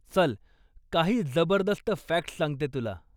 चल, काही जबरदस्त फॅक्ट्स सांगते तुला.